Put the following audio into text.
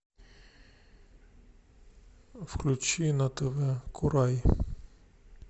включи на тв курай